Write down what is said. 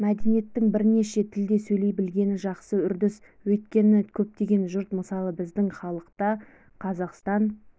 мәдениеттің бірнеше тілде сөйлей білгені жақсы үрдіс өйткені көптеген жұрт мысалы біздің халық та қазақстан